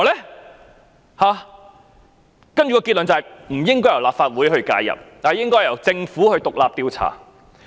然後得出的結論是不應由立法會介入，應該由政府進行獨立調查。